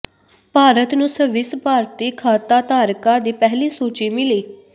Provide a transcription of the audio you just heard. Bharat Swiss ਸਵਿੱਸ ਭਾਰਤੀ ਖਾਤਾਧਾਰਕਾਂ ਦੀ ਪਹਿਲੀ ਸੂਚੀ ਮਿਲੀ